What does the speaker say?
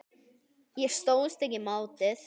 Ég stóðst ekki mátið.